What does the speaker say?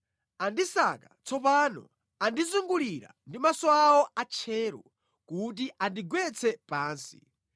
Andisaka, tsopano andizungulira ndi maso awo atcheru, kuti andigwetse pansi.